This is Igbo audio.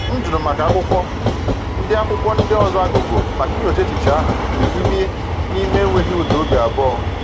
M jụrụ maka akwụkwọ ndị akwụkwọ ndị ọzọ a gụgụ maka inyocha echiche ahụ n’ime ime n’enweghị ụda obi abụọ.